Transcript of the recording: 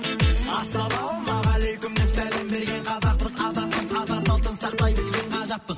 ассалаумағалейкум деп сәлем берген қазақпыз азатпыз ата салтын сақтай білген қазақпыз